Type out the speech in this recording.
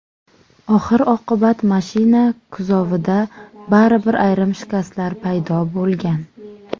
Oxir-oqibat mashina kuzovida baribir ayrim shikastlar paydo bo‘lgan.